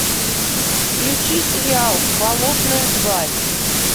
включи сериал болотная тварь